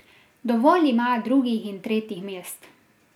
Dovolj ima drugih in tretjih mest.